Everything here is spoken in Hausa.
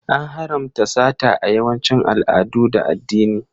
An haramta sata a yawancin al'adu da addini.